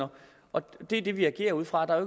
og det er det vi agerer ud fra der er